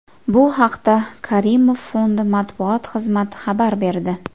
Bu haqda Karimov Fondi matbuot xizmati xabar berdi.